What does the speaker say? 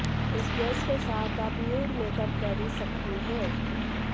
इस ड्रेस के साथ आप न्यूड मेकअप कैरी सकती हैं